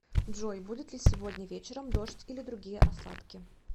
джой будет ли сегодня вечером дождь или другие осадки